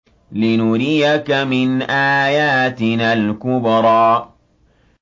لِنُرِيَكَ مِنْ آيَاتِنَا الْكُبْرَى